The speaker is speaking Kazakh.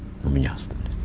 у меня остались